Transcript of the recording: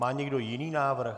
Má někdo jiný návrh?